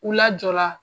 U lajɔra